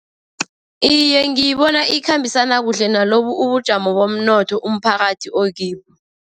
Iye, ngiyibona ikhambisana kuhle nalobu ubujamo bomnotho umphakathi okibo.